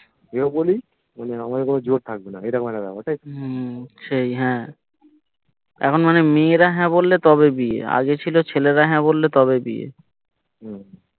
এ ও বলি মানে আমাদের কোনো জোর থাকবেনা মেয়েটার কাছে থাকবে তাইতো সেই হ্যা এখন মানে মেয়েরা হ্যা বললে তবে বিয়ে আগে ছিল ছেলেরা হ্যা বললে তবে বিয়ে